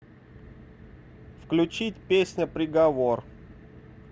включить песня приговор